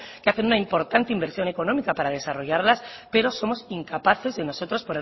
que hace una importante inversión económica para desarrollarlas pero somos incapaces nosotros